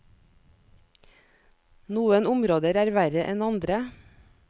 Noen områder er verre enn andre.